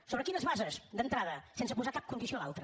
sobre quines bases d’entrada sense posar cap condició a l’altre